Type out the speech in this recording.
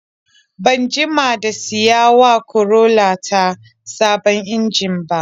Ban jima da siyawa Corolla ta sabon injin ba.